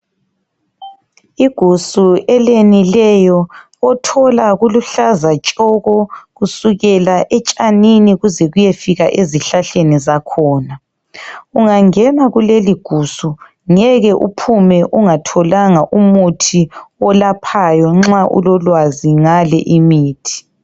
Igusu eliyenileyo othola kuluhlaza tshoko kusukela etshanini kuze kuyefika ezihlahleni zakhona. Ungangena kuleligusu ngeke uphume ungatholanga umuthi olaphayo nxa ulolwazi ngale imithi.